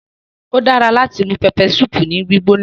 Ódara lati mu peppersupu ni gbigbona